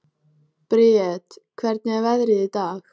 Briet, hvernig er veðrið í dag?